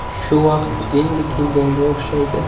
Shu vaqt endi kelganga o‘xshaydi.